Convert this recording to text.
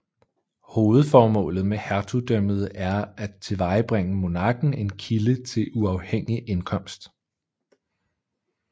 Hovedformålet med hertugdømmet er at tilvejebringe monarken en kilde til uafhængig indkomst